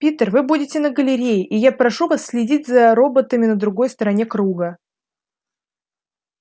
питер вы будете на галерее и я прошу вас следить за роботами на другой стороне круга